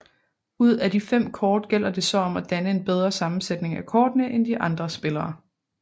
Ud af de fem kort gælder det så om at danne en bedre sammensætning af kortene end de andre spillere